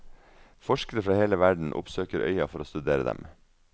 Forskere fra hele verden oppsøker øya for å studere dem.